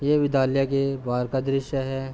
ये विद्यालय के बाहर का दृश्य है।